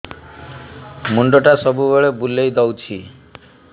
ମୁଣ୍ଡଟା ସବୁବେଳେ ବୁଲେଇ ଦଉଛି